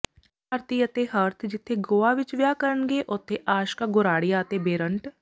ਭਾਰਤੀ ਅਤੇ ਹਰਥ ਜਿੱਥੇ ਗੋਆ ਵਿੱਚ ਵਿਆਹ ਕਰਨਗੇ ਉੱਥੇ ਆਸ਼ਕਾ ਗੋਰਾਡਿਆ ਅਤੇ ਬੇ੍ਰਂਟ